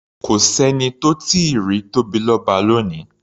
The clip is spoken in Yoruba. Kò s’ẹ́ni tó tíì rí Tóbilọ́ba lónìí.